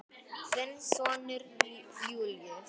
Þinn sonur Júlíus.